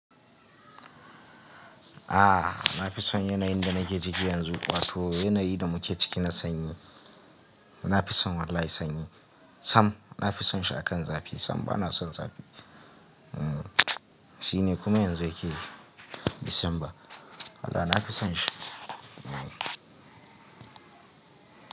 A'a na fi son yanayin da nake ciki yanzu wato yanayin da muke ciki na sanyi. Na fi son wallahi sanyi. Tam na fi son shi akan zafi. Sam ba na son zafi. Hmm shine kuma yanzu yake Disamba. Wallahi na fi son shi. Hmm.